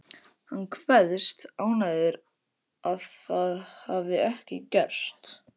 Hann kveðst ánægður að það hafi ekki gerst.